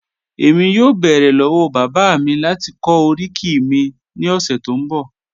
ẹ̀mí yọ̀ọ́ bẹ́ẹ̀rẹ̀ lọ́wọ́ bàbá mi láti kọ̀ oríkì mi ni ọṣẹ tó n bọ̀.